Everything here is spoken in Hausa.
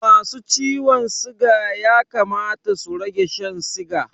Masu ciwon siga ya kamata su rage Shan siga